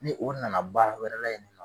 Ni o nana baara wɛrɛ la yen ni nɔ